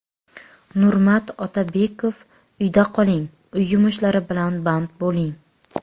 Nurmat Otabekov: Uyda qoling, uy yumushlari bilan band bo‘ling.